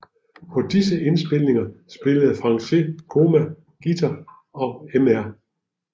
På disse indspilninger spillede Franché Coma guitar og Mr